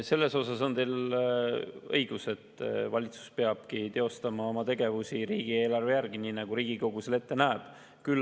Selles osas on teil õigus, et valitsus peab teostama oma tegevusi riigieelarve järgi, nii nagu Riigikogu seda ette näeb.